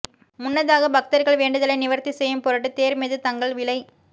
முன்னதாக பக்தர்கள் வேண்டுதலை நிவர்த்தி செய்யும் பொருட்டு தேர் மீது தங்கள் விளை